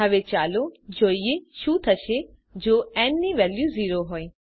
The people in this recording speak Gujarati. હવે ચાલો જોઈએ શું થશે જો ન ની વેલ્યુ 0 હોય